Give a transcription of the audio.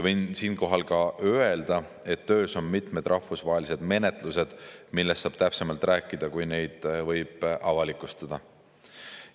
Võin siinkohal öelda, et töös on mitmed rahvusvahelised menetlused, millest saab täpsemalt rääkida siis, kui neid võib avalikustada.